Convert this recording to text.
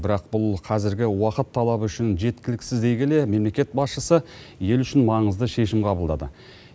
бірақ бұл қазіргі уақыт талабы үшін жеткіліксіз дей келе мемлекет басшысы ел үшін маңызды шешім қабылдады